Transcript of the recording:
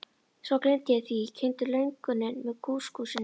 Svo gleymdi ég því, ég kyngdi lönguninni með kúskúsinu.